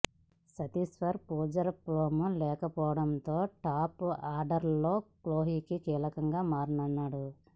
చతేశ్వర్ పుజార ఫామ్లో లేకపోవడంతో టాప్ ఆర్డర్లో కోహ్లీ కీలకంగా మారనున్నాడు